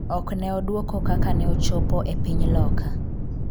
ok ne odwoko kaka ne ochopo e piny Loka